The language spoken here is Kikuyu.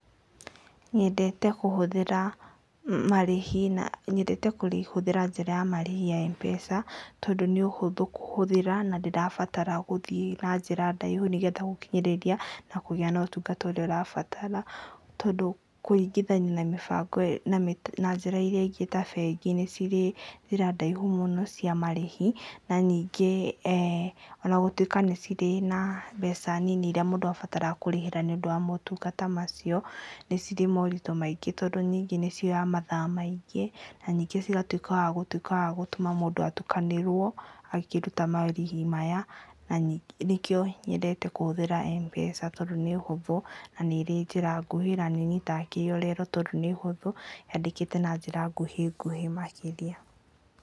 Nyendete kũhũthĩra marĩhĩ na njĩra ya marĩhi ya Mpesa tondu nĩũhũthũ kũhũthĩra na ndĩrabatara gũthiĩ na njĩra ndaihu nĩgethe gũkinyĩrĩria na kũgĩa na ũtungata ũrĩa ũrabatara tondũ kũringithania na mĩbango na njĩra irĩa ingĩ ta bengi nĩ cirĩ njĩra ndaihu mũno cia marĩhi na ningĩ eeh ona gũtuĩka nĩ cirĩ na mbeca nini irĩa mũndũ abataraga kũrĩhĩra nĩũndũ wa motungata macio nĩ cirĩ moritũ maingĩ tondũ ningĩ nĩcioyaga mathaa maingĩ na ningĩ cigatuĩka wagũtuĩka wagũtũma mũndũ atukanĩrwo akĩruta marĩhi maya na nĩkĩo nyendete kũhũthĩra Mpesa tondũ nĩ hũthũ na nĩ ĩrĩ njĩra nguhĩ na nĩũnyitaga kĩrĩa ũrero tondũ nĩ hũthũ yandĩkĩtwo na njĩra nguhĩ nguhĩ makĩria.